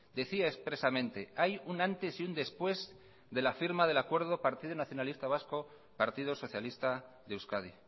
decía expresamente hay un antes y un después de la firma del acuerdo del partido nacionalista vasco partido socialista de euskadi